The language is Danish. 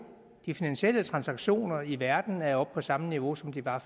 de finansielle transaktioner i verden er oppe på samme niveau som de var